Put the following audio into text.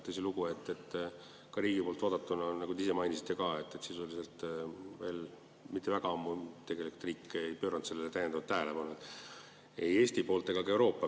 Tõsilugu, nagu te ise ka mainisite, riigi poolt vaadatuna on nii, et sisuliselt veel tegelikult riik ei pööranud sellele kõigele täiendavat tähelepanu, ei Eesti ega ka kogu Euroopa.